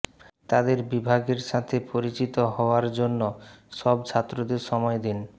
তাদের বিভাগের সাথে পরিচিত হওয়ার জন্য সব ছাত্রদের সময় দিন